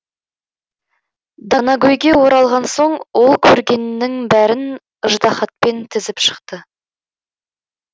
данагөйге оралған соң ол көргенінің бәрін ыждаһатпен тізіп шықты